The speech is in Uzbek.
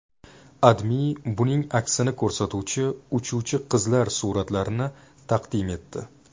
AdMe buning aksini ko‘rsatuvchi uchuvchi qizlar suratlarni taqdim etdi .